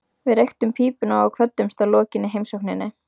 Við reyktum pípuna og kvöddumst að lokinni heimsókninni.